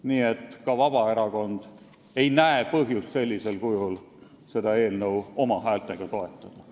Nii et ka Vabaerakond ei näe põhjust sellisel kujul esitatud eelnõu oma häältega toetada.